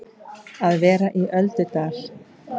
Að vera í öldudal